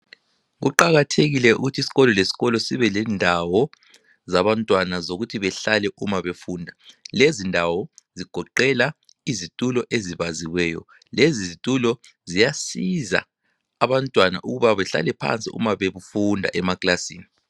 Kuqakathekile ukuthi isikolo lesikolo sibelendawo zabantwana zokuthi behlale umabefunda lezindawo zigoqela izithulo ezibaziweyo lezi zitulo ziyasiza abantwana ukuba behlale phansi uma befunda emaklasini